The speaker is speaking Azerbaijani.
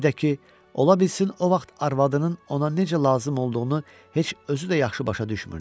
Bir də ki, ola bilsin o vaxt arvadının ona necə lazım olduğunu heç özü də yaxşı başa düşmürdü.